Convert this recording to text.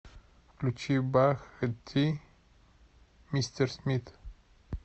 включи бах ти мистер смит